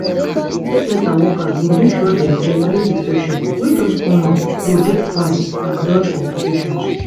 health center workers go make sure dem check mate infection wey just come out to dey fine and dodge complications